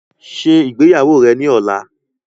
Ṣé ìgbéyàwó rẹ ni ọ̀la!